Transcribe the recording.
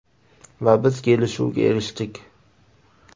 Va biz kelishuvga erishdik.